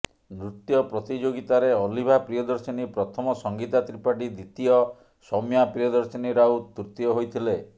ନୃତ୍ୟ ପ୍ରତିଯୋଗିତାରେ ଅଲିଭା ପିୟଦର୍ଶନୀ ପ୍ରଥମ ସଂଗୀତା ତ୍ରିପାଠୀ ଦ୍ୱିତୀୟ ସୌମ୍ୟା ପ୍ରିୟଦର୍ଶିନୀ ରାଉତ ତୃତୀୟ ହୋଇଥିଲେ